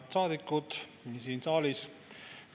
Head saadikud siin saalis!